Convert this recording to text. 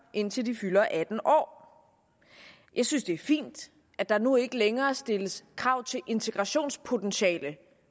indtil de fylder atten år jeg synes det er fint at der nu ikke længere stilles krav til integrationspotentiale